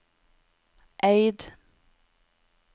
Eid